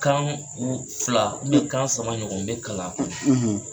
Kan fila, n ye kan saba ɲɔgɔn de kalan a la. .